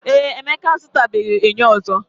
Ee, Emeka azutabeghi enyo ozo.